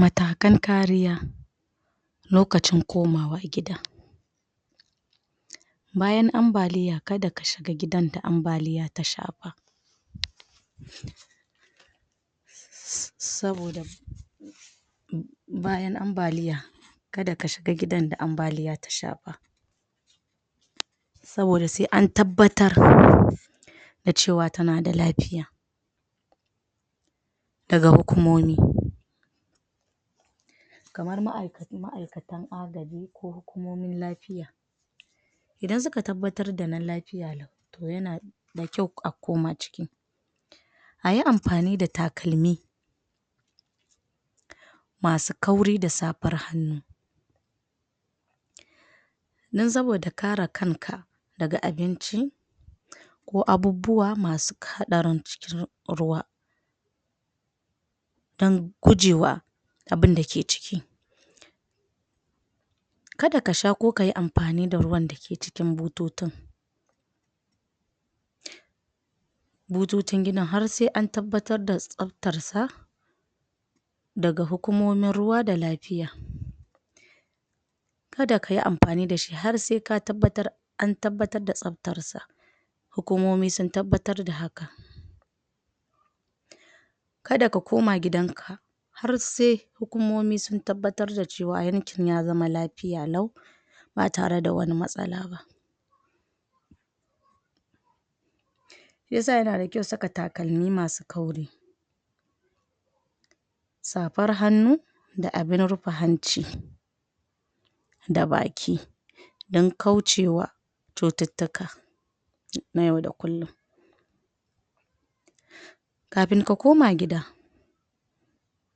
Matakan kariya lokacin komawa gida bayan ambaliya kada ka shiga gidan da ambaliya ta shafa saboda bayan ambaliya kada ka shiga gidan da ambaliya ta shafa, saboda sai an tabbatar da cewa tana da lafiya daga hukumomi kamar ma’aikatan agaji ko hukumomin lafiya idan suka tabbatar da yana nan lafiya lau to yana da kyau a koma ciki a yi amfani da takalmi masu kauri da safar hannu don saboda kare kanka daga abinci ko abubuwa masu haɗarin cikin ruwa don gujewa abin da ke ciki kada ka sha ko yi ko yi amfani da ruwan da ke cikin butotin butotin gidan har sai an tabbatar tsaftarsa daga hukumomin ruwa da lafiya kada ka yi amfani da shi har sai ka tabbatar an tabbatar da tsaftarsa hukumomi sun tabbatar da haka kada ka koma gidanka har sai hukumomi sun tabbatar da cewa yankin ya zama lafiya lau ba tare da wani matsala ba, shi yasa yana da kyau saka takalmi masu kauri safar hannu da abin rufe hanci da baki don kaucewa cututtuka na yau da kullum kafin ka koma gida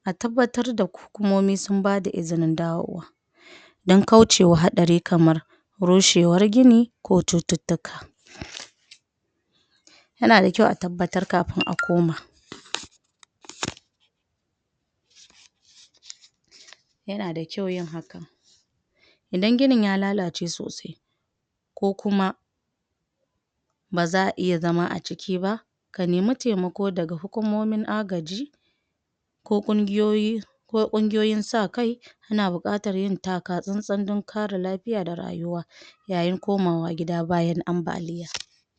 a tabbatar da hukumomi sun bada izinin dawowa don kaucewa haɗari kamar rushewar gini ko cututtuka yana da kyau a tabbatar kafin a koma yana da kyau yin hakan idan ginin ya lalace sosai ko kuma ba za a iya zama a ciki ba ka nemi taimako daga hukumomin agaji ko ƙungiyoyi ko ƙungiyoyin sa-kai suna buƙatar yin taka-tsantsan don kare lafiya da rayuwa yayin komawa gida bayan ambaliya